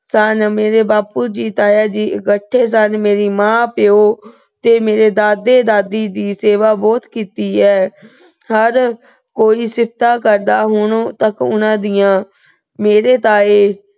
ਸਨ, ਮੇਰੇ ਬਾਪੂ ਜੀ, ਤਾਇਆ ਜੀ ਇੱਕਠੇ ਸਨ। ਮੇਰੇ ਮਾਂ ਪਿਉ ਤੇ ਮੇਰੇ ਦਾਦੇ-ਦਾਦੀ ਦੀ ਸੇਵਾ ਬਹੁਤ ਕੀਤੀ ਹੈ। ਹਰ ਕੋਈ ਸਿਫਤਾਂ ਕਰਦਾ ਹੁਣ ਤੱਕ ਉਹਨਾਂ ਦੀਆਂ। ਮੇਰੇ ਤਾਏ